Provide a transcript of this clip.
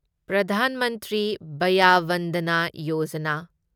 Pradhan Mantri Vaya Vandana Yojana